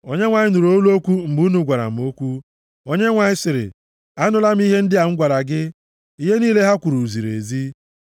Onyenwe anyị nụrụ olu okwu mgbe unu gwara m okwu, Onyenwe anyị sịrị m, “Anụla m ihe ndị a gwara gị. Ihe niile ha kwuru ziri ezi.